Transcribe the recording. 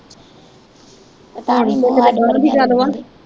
ਹੁਣ ਈ ਤੇ ਕੀਤੇ ਗ਼ਾਹ ਦੀ ਗੱਲ ਬਾਤ।